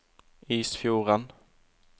Isfjorden